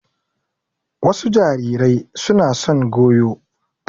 Wasu jarirai suna son goyo.